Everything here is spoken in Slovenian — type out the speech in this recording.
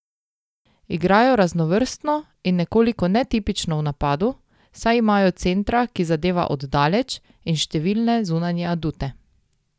Igrajo raznovrstno in nekoliko netipično v napadu, saj imajo centra, ki zadeva od daleč, in številne zunanje adute.